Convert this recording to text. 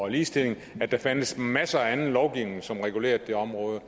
ligestilling at der findes masser af anden lovgivning som regulerer det område